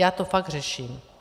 Já to fakt řeším.